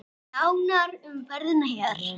Nánar um ferðina hér.